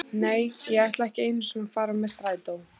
Nei, ég ætla ekki einu sinni að fara með strætó.